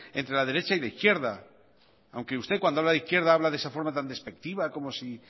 entre la derecha y la izquierda aunque usted cuando habla de izquierda habla de esa forma tan despectiva como si